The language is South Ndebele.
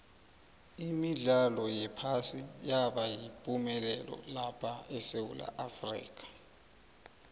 imidlalo yephasi yabayipumelelo lapha esewula afrika